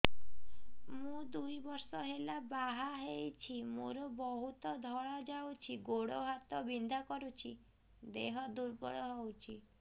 ମୁ ଦୁଇ ବର୍ଷ ହେଲା ବାହା ହେଇଛି ମୋର ବହୁତ ଧଳା ଯାଉଛି ଗୋଡ଼ ହାତ ବିନ୍ଧା କରୁଛି ଦେହ ଦୁର୍ବଳ ହଉଛି